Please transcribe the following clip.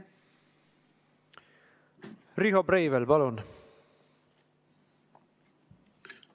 Riho Breivel, palun!